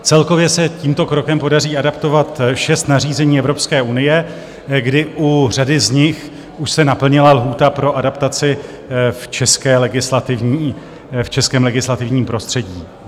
Celkově se tímto krokem podaří adaptovat šest nařízení Evropské unie, kdy u řady z nich se už naplnila lhůta pro adaptaci v českém legislativním prostředí.